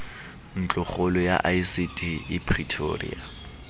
ntlokgolo ya icd e pretoria